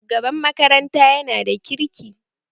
Shugaban makaranta yana da kirki